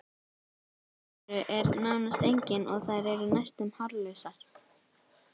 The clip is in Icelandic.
Ytri eyru er nánast engin og þær eru næstum hárlausar.